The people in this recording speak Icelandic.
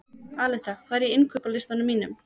Aleta, hvað er á innkaupalistanum mínum?